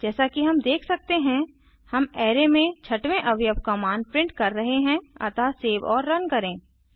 जैसा कि हम देख सकते हैं हम अराय में छठवें अवयव का मान प्रिंट कर रहे हैं अतः सेव और रन करें